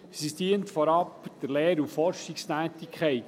Sie dient vorab der Lehr- und Forschungstätigkeit.